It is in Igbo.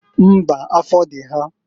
Mbaǃ Afọ dị ha.